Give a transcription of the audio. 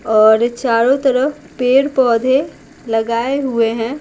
और चारों तरफ पेड़-पौधे लगाए हुए हैं।